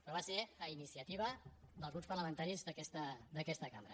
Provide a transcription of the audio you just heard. però va ser a iniciativa dels grups parlamentaris d’aquesta cambra